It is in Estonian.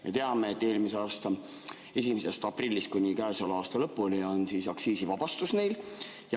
Me teame, et eelmise aasta 1. aprillist kuni käesoleva aasta lõpuni on meil aktsiisivabastus.